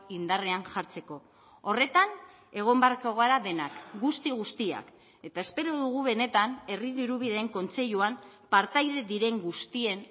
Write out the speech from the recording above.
indarrean jartzeko horretan egon beharko gara denak guzti guztiak eta espero dugu benetan herri dirubideen kontseiluan partaide diren guztien